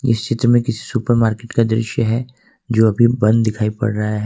इस दृश्य में किसी सुपरमार्केट का दृश्य है जो अभी बंद दिखाई पड़ रहा है।